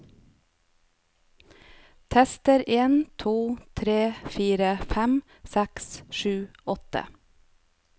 Tester en to tre fire fem seks sju åtte